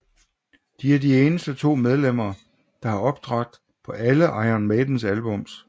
De er de eneste to medlemmer der har optrådt på alle Iron Maidens albums